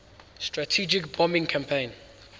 strategic bombing campaign